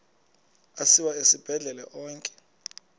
asiwa esibhedlele onke